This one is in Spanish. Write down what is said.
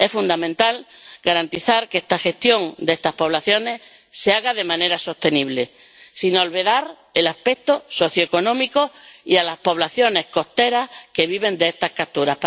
Es fundamental garantizar que esta gestión de estas poblaciones se haga de manera sostenible, sin olvidar el aspecto socioeconómico ni a las poblaciones costeras que viven de esta captura.